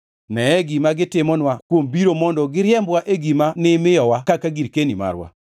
Neye gima gitimonwa kuom biro mondo giriembwa e gima nimiyowa kaka girkeni marwa.